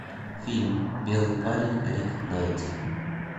фильм белый парень рик найти